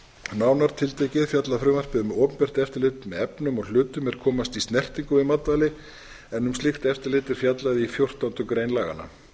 nánar tiltekið fjallar frumvarpið um opinbert eftirlit með efnum og hlutum er komast í snertingu við matvæli en um slíkt eftirlit er fjallað í fjórtándu grein laganna